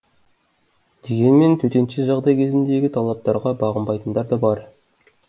дегенмен төтенше жағдай кезіндегі талаптарға бағынбайтындар да бар